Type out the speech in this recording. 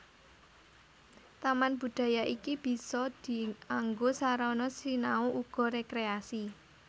Taman budaya iki bisa dianggo sarana sinau uga rékréasi